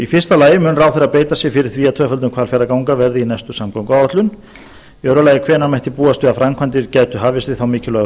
fyrstu mun ráðherra beita sér fyrir því að tvöföldun hvalfjarðarganga verði í næstu samgönguáætlun annars hvenær mætti búast við að framkvæmdir gætu hafist við þá mikilvægu